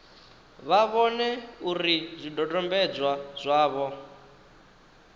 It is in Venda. vha vhone uri zwidodombedzwa zwavho